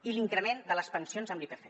i l’increment de les pensions amb l’ipc